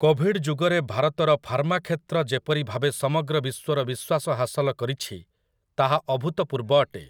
Covid ଯୁଗରେ ଭାରତର pharma କ୍ଷେତ୍ର ଯେପରିଭାବେ ସମଗ୍ର ବିଶ୍ୱର ବିଶ୍ୱାସ ହାସଲ କରିଛି ତାହା ଅଭୂତପୂର୍ବ ଅଟେ ।